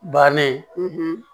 Bannen